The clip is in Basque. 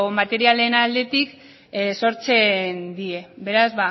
materialen aldetik sortzen die beraz